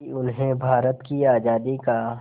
कि उन्हें भारत की आज़ादी का